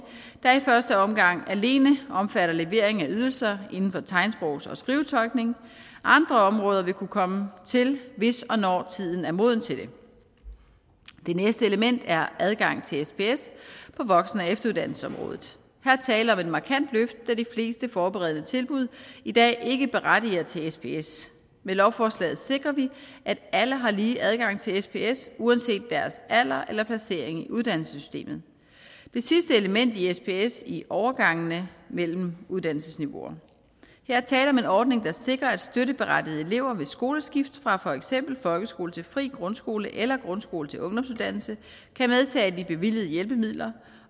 der i første omgang alene omfatter levering af ydelser inden for tegnsprogs og skrivetolkning andre områder vil kunne komme til hvis og når tiden er moden til det det næste element er adgang til sps på voksen og efteruddannelsesområdet her er tale om et markant løft da de fleste forberedende tilbud i dag ikke berettiger til sps med lovforslaget sikrer vi at alle har lige adgang til sps uanset deres alder eller placering i uddannelsessystemet det sidste element er sps i overgangen mellem uddannelsesniveauer her er tale om en ordning der sikrer at støtteberettigede elever ved skoleskift fra for eksempel folkeskole til fri grundskole eller fra grundskole til ungdomsuddannelse kan medtage de bevilgede hjælpemidler